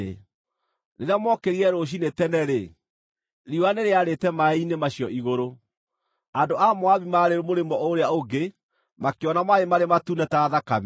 Rĩrĩa mookĩrire rũciinĩ tene-rĩ, riũa nĩrĩarĩte maaĩ-inĩ macio igũrũ. Andũ a Moabi marĩ mũrĩmo ũrĩa ũngĩ makĩona maaĩ maarĩ matune ta thakame.